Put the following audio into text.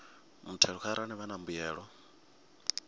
muthelo arali vha na mbuyelo